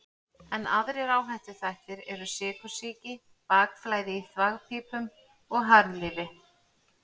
Enn aðrir áhættuþættir eru sykursýki, bakflæði í þvagpípum og harðlífi.